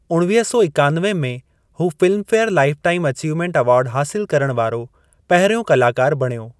उणवीह सौ हिकानवे में हू फिल्मफेयर लाइफटाइम अचीवमेंट अवार्ड हासिल करण वारो पहिरियों कलाकारु बणियो।